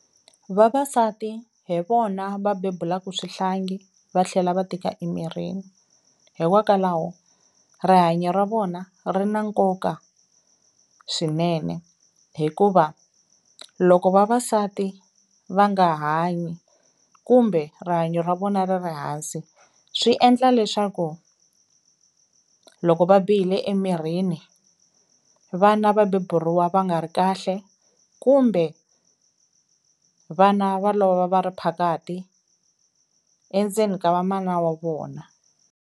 Vavasati hi vona va bebulaku swihlangi va tlhela va tika emirini hikokwalaho rihanyo ra vona ri na nkoka swinene, hikuva loko vavasati va nga hanyi kumbe rihanyo ra vona ri ri hansi, swi endla leswaku loko va bihile emirhini vana va beburiwa va nga ri kahle kumbe vana va lova va ri phakahi endzeni ka va mana wa vona.